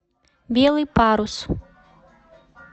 белый парус